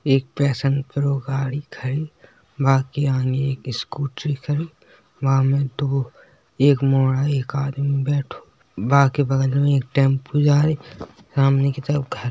एक passion pro गाड़ी खड़ी। बाकी आगे एक स्कूटी खड़ी। वा में दो एक मोडा है और एक आदमी बैठो। बाकी बगल में एक टेम्पो जा रही। सामने की तरफ घर --